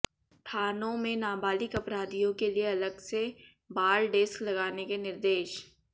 थानों में नाबालिग अपराधियों के लिये अलग से बाल डेस्क लगाने के निर्देश